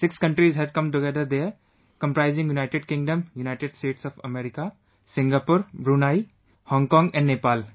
Six countries had come together, there, comprising United Kingdom, United States of America, Singapore, Brunei, Hong Kong & Nepal